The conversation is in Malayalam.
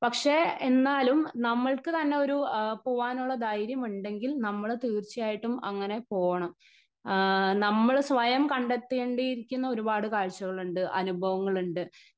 സ്പീക്കർ 1 പക്ഷേ എന്നാലും നമ്മൾക്ക് തന്നെ ഒരു പോവാനൊരു ധൈര്യമുണ്ടെങ്കിൽ നമ്മള് തീർച്ചയയായിട്ടും അങ്ങനെ പോണം. ആ നമ്മള് സ്വയം കണ്ടെത്തിയിരിക്കേണ്ട ഒരുപാട് കാഴ്ചകളുണ്ട് അനുഭവങ്ങളുണ്ട്.